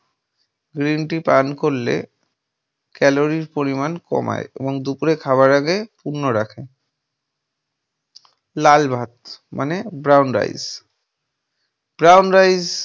green tea পান করলে calory পরিমান কমায় এবং দুপুরে খাবার আগে পূর্ণ রাখে । লাল ভাত মানে brown ricebrown rice